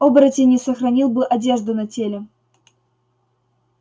оборотень не сохранил бы одежду на теле